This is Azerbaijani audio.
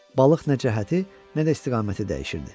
Balıq nə cəhəti, nə də istiqaməti dəyişirdi.